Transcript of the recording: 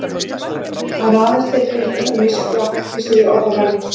Það eru aðeins til rithöfundar misjafnlega háttvísir í orðavali.